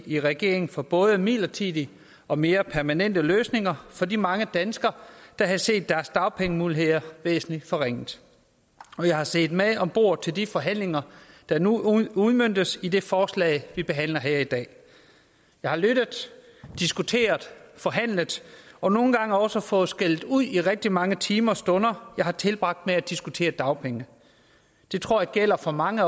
i regering for både midlertidige og mere permanente løsninger for de mange danskere der havde set deres dagpengemuligheder væsentligt forringet og jeg har siddet med om bordet til de forhandlinger der nu udmøntes i det forslag vi behandler her i dag jeg har lyttet diskuteret forhandlet og nogle gange også fået skældud i de rigtig mange timer og stunder jeg har tilbragt med at diskutere dagpenge det tror jeg gælder for mange